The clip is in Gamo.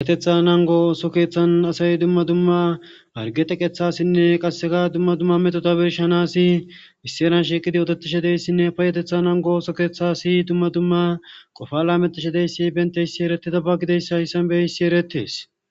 Payetetha nango oso keeththan asay dumma dumma arge teqethasinne qasseka dumma dumma metota birshanasi misseran sheqidi otetishedeyssinne payetetha nango oso keeththasi dumma dumma qofa lametishe deyssi bente yssi eretida ba gideyssa hissan beyhissi eretees